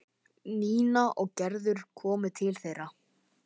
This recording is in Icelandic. Nína og Gerður komu til þeirra.